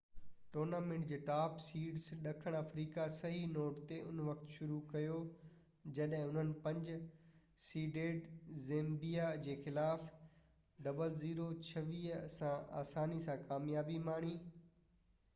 tournament جي top seeds ڏکڻ آفريقا صحيح نوٽ تي ان وقت شروع ڪيو جڏهن انهن 5 سيڊيڊ زيمبيا جي خلاف 26 - 00 سان آساني سان ڪاميابي ماڻي